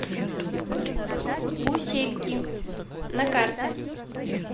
гусельки на карте